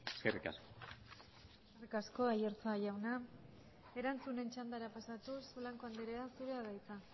eskerrik asko eskerrik asko aiartza jauna erantzunen txandara pasatuz blanco andrea zurea da hitza